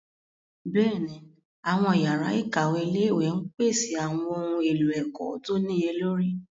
Bẹ́ẹ̀ni, àwọn yàrá ìkàwé ilé-ìwé ń pèsè àwọn ohun èlò ẹ̀kọ́ tó níye lórí.